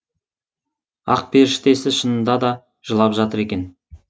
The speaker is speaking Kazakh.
ақперіштесі шынында да жылап жатыр екен